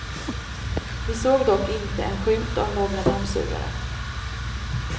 Vi såg dock inte en skymt av några dammsugare.